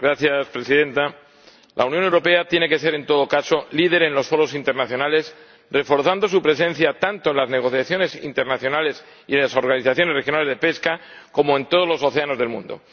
Señora Presidenta, la Unión Europea tiene que ser, en todo caso, líder en los foros internacionales, reforzando su presencia tanto en las negociaciones internacionales y en las organizaciones regionales de pesca como en todos los océanos del mundo.